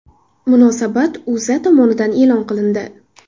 Munosabat O‘zA tomonidan e’lon qilindi .